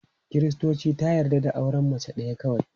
Kiristanci ta yarda da auren mace ɗaya kawai.